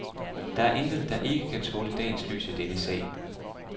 Der er intet, der ikke kan tåle dagens lys i denne sag.